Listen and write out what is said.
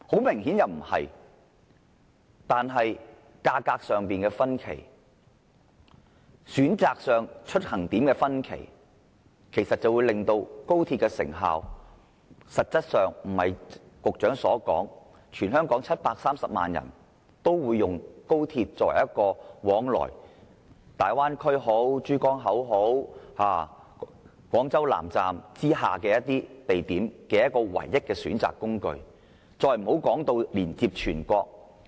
明顯不是，價格的差距、出發地點的選擇，實際上均不會如局長所預計，全香港730萬人都會以高鐵作為往來大灣區、珠江口或廣州以南地點的唯一交通工具，更不要說是全國了。